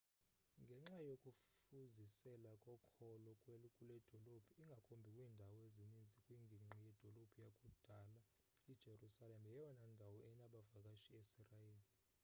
ngenxa yokufuzisela kokholo kuledolophu ingakumbi kwiindawo ezininzi kwingingqi yedolophu yakudala i-jerusalem yeyona ndawo enabavakashi esirayeli